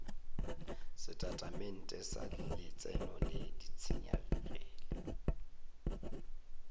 setatamente sa letseno le ditshenyegelo